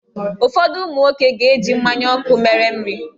Ụfọdụ ụmụ nwoke ga-eji mmanya ọkụ mere nri.